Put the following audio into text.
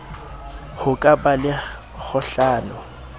ho ka ba le kgohlano